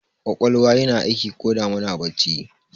Ƙwaƙwalwa yana aiki koda muna bacci ne